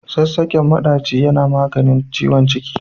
Sassaƙen maɗaci yana maganin ciwon ciki.